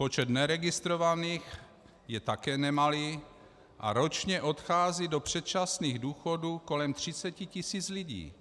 Počet neregistrovaných je také nemalý a ročně odchází do předčasných důchodů kolem 30 tisíc lidí,